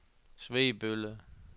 Svebølle